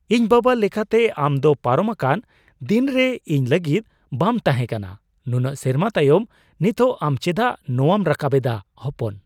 ᱤᱧ ᱵᱟᱵᱟ ᱞᱮᱠᱟᱛᱮ, ᱟᱢ ᱫᱚ ᱯᱟᱨᱚᱢᱟᱠᱟᱱ ᱫᱤᱱᱨᱮ ᱤᱧ ᱞᱟᱹᱜᱤᱫ ᱵᱟᱢ ᱛᱟᱦᱮᱸᱠᱟᱱᱟ ᱾ ᱱᱩᱱᱟᱹᱜ ᱥᱮᱨᱢᱟ ᱛᱟᱭᱚᱢ ᱱᱤᱛᱚᱜ ᱟᱢ ᱪᱮᱫᱟᱜ ᱱᱚᱣᱟᱢ ᱨᱟᱠᱟᱵ ᱮᱫᱟ ? (ᱦᱚᱯᱚᱱ)